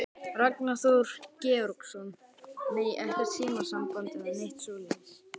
Ragnar Þór Georgsson: Nei, ekkert símasamband eða neitt svoleiðis?